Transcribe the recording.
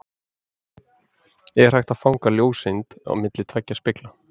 er hægt að fanga ljóseind milli tveggja spegla